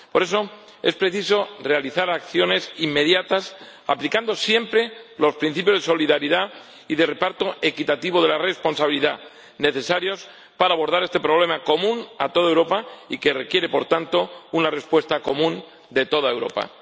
Por eso, es preciso realizar acciones inmediatas, aplicando siempre los principios de solidaridad y de reparto equitativo de la responsabilidad necesarios para abordar este problema común a toda Europa y que requiere, por tanto, una respuesta común de toda Europa.